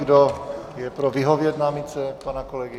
Kdo je pro, vyhovět námitce pana kolegy?